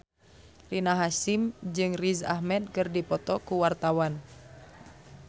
Rina Hasyim jeung Riz Ahmed keur dipoto ku wartawan